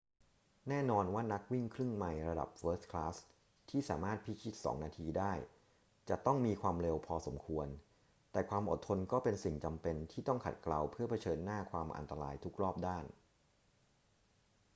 แน่นอนว่านักวิ่งครึ่งไมล์ระดับเฟิร์สคลาสที่สามารถพิชิตสองนาทีได้จะต้องมีความเร็วพอสมควร แต่ความอดทนก็เป็นสิ่งจำเป็นที่ต้องขัดเกลาเพื่อเผชิญหน้าความอันตรายทุกรอบด้าน